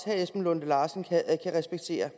herre esben lunde larsen kan respektere